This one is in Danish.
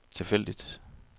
tilfældigt